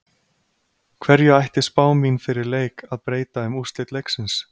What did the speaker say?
Hverju ætti spá mín fyrir leik að breyta um úrslit leiksins?